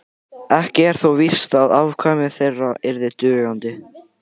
ekki er þó víst að afkvæmi þeirra yrðu dugandi